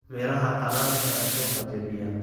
Miraha qalaad ayaa suuqa jebiya.